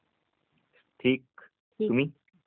ठीक ..तुम्ही?